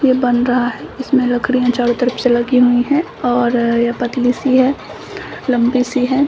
यह बन रहा है इसमें लकड़ियाँ चारों तरफ से लगी हुई है ओर यह पतली सी है लंबी सी है।